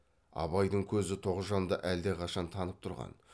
абайдың көзі тоғжанды әлдеқашан танып тұрған